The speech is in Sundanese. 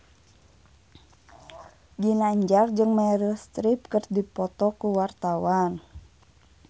Ginanjar jeung Meryl Streep keur dipoto ku wartawan